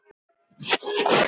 Já, sagði hann svo.